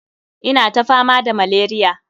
Ina ta fama da malaria.